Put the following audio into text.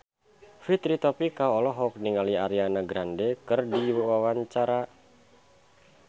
Fitri Tropika olohok ningali Ariana Grande keur diwawancara